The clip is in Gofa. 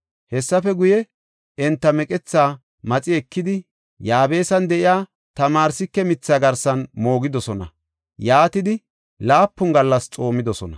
Hessafe guye, enta meqethaa maxi ekidi, Yaabesan de7iya tamarsike mithaa garsan moogidosona; yaatidi laapun gallas xoomidosona.